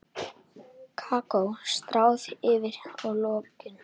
Kakó stráð yfir í lokin.